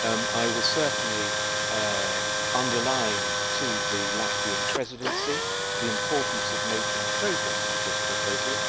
I will certainly underline to the Latvian Presidency the importance of making progress with this proposal.